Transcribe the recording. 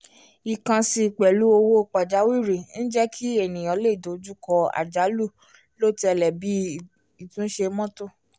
ìkànsí pẹ̀lú owó pajawiri ń jẹ́ kí ènìyàn lè dojú kọ́ àjálù lọ́ọ́tẹ̀lẹ̀ bíi ìtúnṣe mọ́tò